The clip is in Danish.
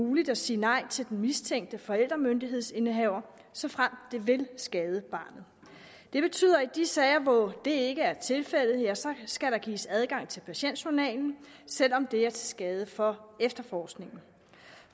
muligt at sige nej til den mistænkte forældremyndighedsindehaver såfremt det vil skade barnet det betyder i de sager hvor det ikke er tilfældet skal gives adgang til patientjournalen selv om det er til skade for efterforskningen